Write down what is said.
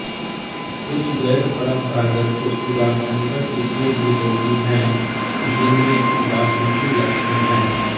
कुछ गैरपरंपरागत खुशबूदार संकर किस्में भी होती हैं जिनमें बासमती लक्षण हैं